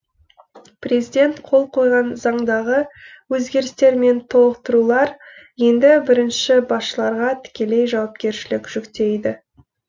президент қол қойған заңдағы өзгерістер мен толықтырулар енді бірінші басшыларға тікелей жауапкершілік жүктейді